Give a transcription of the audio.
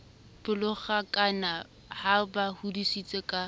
pelonghakana a ba hodisitse ka